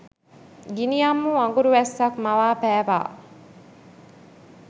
ගිනියම් වූ අඟුරු වැස්සක් මවා පෑවා.